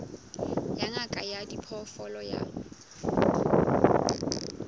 ya ngaka ya diphoofolo ya